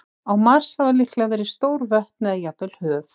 Á Mars hafa líklega verið stór vötn eða jafnvel höf.